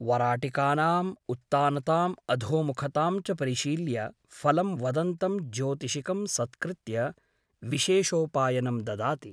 वराटिकानाम् उत्तानताम् अधोमुखतां च परिशील्य फलं वदन्तं ज्योतिषिकं सत्कृत्य विशेषोपायनं ददाति ।